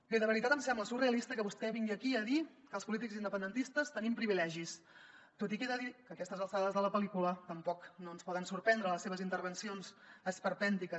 bé de veritat em sembla surrealista que vostè vingui aquí a dir que els polítics independentistes tenim privilegis tot i que he de dir que a aquestes alçades de la pellícula tampoc no ens poden sorprendre les seves intervencions esperpèntiques